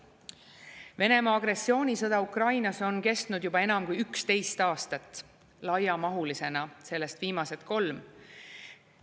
Venemaa agressioonisõda Ukrainas on kestnud juba enam kui 11 aastat, laiamahulisena sellest viimased kolm.